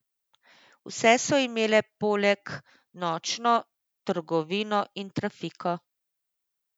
Vse so imele poleg nočno trgovino in trafiko.